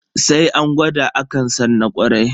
Sai an gwada akan san na kwarai.